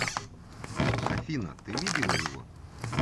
афина ты видела его